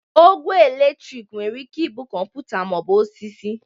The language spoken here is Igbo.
Ogwe eletriki nwere ike ịbụ kọmpụta ma ọ bụ osisi